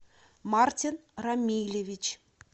мартин рамилевич